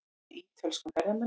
Leitað að ítölskum ferðamanni